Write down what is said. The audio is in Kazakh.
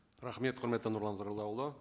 рахмет құрметті нұрлан зайроллаұлы